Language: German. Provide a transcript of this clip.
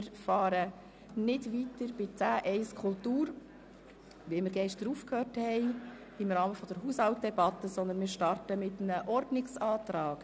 Wir beginnen nicht wie vorgesehen dort, wo wir gestern im Rahmen der Haushaltsdebatte aufgehört haben, nämlich bei Kapitel 10.i Kultur, sondern wir starten mit einem Ordnungsantrag.